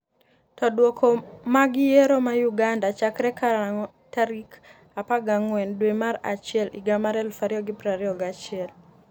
to Duoko mag yiero ma Uganda chakre karang'o tarik 14 dwe mar achiel higa mar 2021?